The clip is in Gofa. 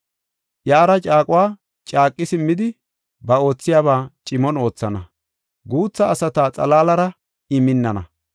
Iyara caaquwa caaqi simmidi, ba oothiyaba cimon oothana; guutha asata xalaalara I minnana.